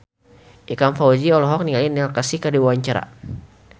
Ikang Fawzi olohok ningali Neil Casey keur diwawancara